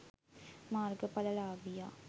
මාර්ග ඵල ලාභියා